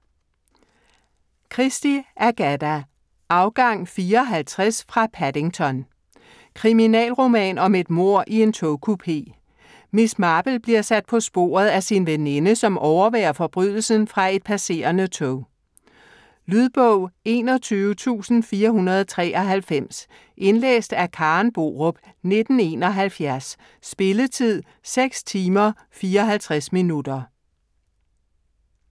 Christie, Agatha: Afgang 4.50 fra Paddington Kriminalroman om et mord i en togkupé. Miss Marple bliver sat på sporet af sin veninde, som overværer forbrydelsen fra et passerende tog. Lydbog 21493 Indlæst af Karen Borup, 1971. Spilletid: 6 timer, 54 minutter.